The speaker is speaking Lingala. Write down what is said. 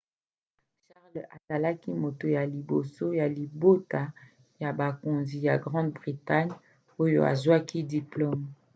charles azalaki moto ya liboso ya libota ya bokonzi ya grande bretagne oyo azwaki diplome